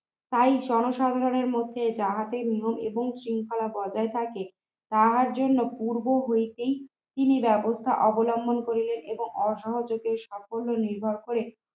তাই জনসাধারণের মধ্যে যাহাতে নিয়ম এবং শৃঙ্খলা বজায় থাকে তাহার জন্য পূর্ব হইতেই তিনি ব্যবস্থা অবলম্বন করিলেন। এবং অসহযোগী সাফল্য নির্ভর করে